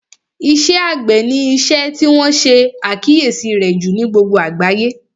Iṣẹ́ àgbẹ̀ ni isẹ́ tí wọ́n ṣe àkíyèsí rẹ̀ jù ní gbogbo àgbáyé